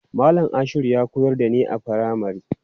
Malam Ashiru ya koyar da ni a firamari.